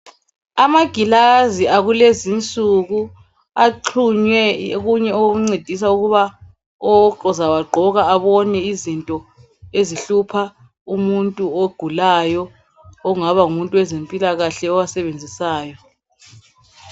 Amagilazi akulezi insuku. Axhunywe okunye okuncedisa ukuba ozawagqoka abone izinto ezihlupha umuntu ogulayo. Okungaba ngumuntu wezempilakahle owasebenzisayo.